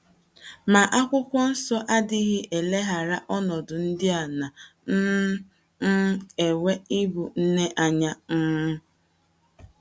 Ma, Akwụkwọ Nsọ adịghị eleghara ọnọdụ ndị a na um - um enwe n’ịbụ nne anya um.